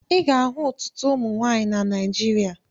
Ị ga-ahụ ọtụtụ ụmụ nwaanyị na Naijiria.